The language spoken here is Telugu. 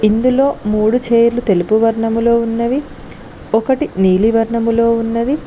ఇందులో మూడు చేర్లు తెలుపు వర్ణంలో ఉన్నవి ఒకటి నీలివర్ణములో ఉన్నది.